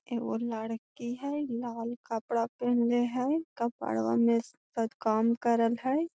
एगो लड़की हेय लाल कपड़ा पहनले हेय कपड़वा मे शद काम करल हेय।